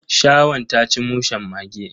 Shirwan ta ci mushen mage.